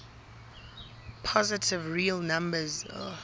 positive real numbers